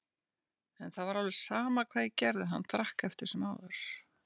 En það var alveg sama hvað ég gerði, hann drakk eftir sem áður.